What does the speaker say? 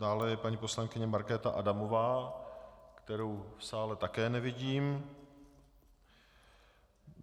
Dále je paní poslankyně Markéta Adamová, kterou v sále také nevidím.